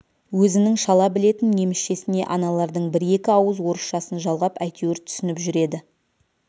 өзінің шала білетін немісшесіне аналардың бір-екі ауыз орысшасын жалғап әйтеуір түсініп жүреді